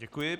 Děkuji.